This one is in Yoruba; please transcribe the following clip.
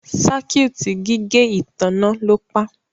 Circuit gígé ìtanná lọ pá.